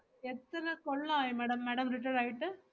എത്ര കൊള്ളായി madam, madam retired ആയിട്ട്?